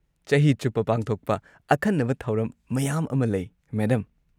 ꯆꯍꯤ ꯆꯨꯞꯄ ꯄꯥꯡꯊꯣꯛꯄ ꯑꯈꯟꯅꯕ ꯊꯧꯔꯝ ꯃꯌꯥꯝ ꯑꯃ ꯂꯩ, ꯃꯦꯗꯝ꯫